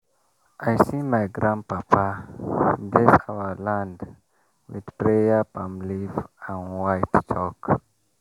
i see my grandpapa bless our land with prayer palm leaf and white chalk.